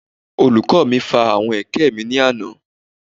Olùkọ́ mi fa àwọn ẹ̀kẹ́ mi ní àná